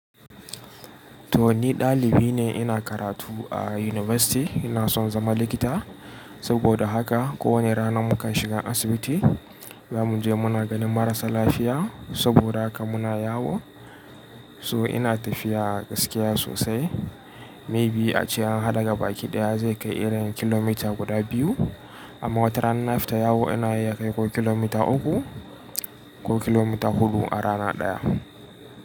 To ni dalibi ne ina karatu a university ina son zama likita. Saboda haka ko wani rana mukan shiga asibiti zamu je muna ganin marasa lafiya. Saboda haka muna yawo. So ina tafiya a gaskiya sosai. Maybe ace an hada gaba ki daya zai kai irin kilomita guda biyu. Amma watarana in na fita yawo ina iya kai ko kilomita uku ko kilomita huɗu a rana daya.